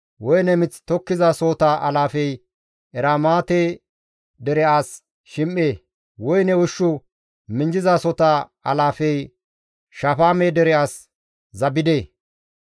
Woyne mith tokkizasohota alaafey Eramaate dere as Shim7e; woyne ushshu minjjizasota alaafey Shafaame dere as Zabde.